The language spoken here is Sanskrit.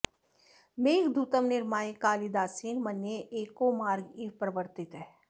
मेघदूतं निर्माय कालिदासेन मन्ये एको मार्ग इव प्रवर्त्तितः